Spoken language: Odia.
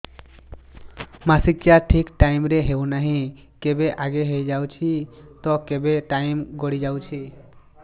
ମାସିକିଆ ଠିକ ଟାଇମ ରେ ହେଉନାହଁ କେବେ ଆଗେ ହେଇଯାଉଛି ତ କେବେ ଟାଇମ ଗଡି ଯାଉଛି